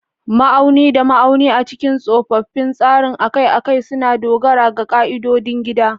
Ma'auni da ma'auni a cikin tsofaffin tsarin akai-akai suna dogara ga ƙa'idodin gida.